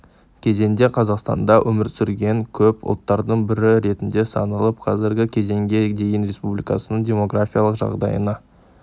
кезеңде қазақстанда өмір сүрген көп ұлттардың бірі ретінде саналып қазіргі кезеңге дейін республиканың демографиялық жағдайына